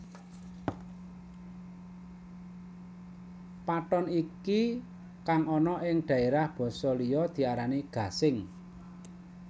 Pathon iki kang ana ing daerah basa liya diarani gasing